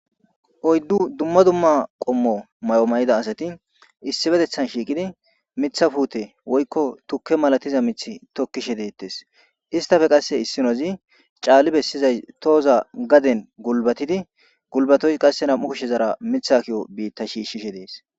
oyddu dumma dumma qommo may7o mayida asati issibetethan shiiqidi mitha puute woykko tukke malatiza mith tokkishe deettes istafe qasse issinozi caalli bessizay tooza gaden gulbatidi gulbatoy qasse nam7u kushe zara mitha kiyo biitta shiishshishe dees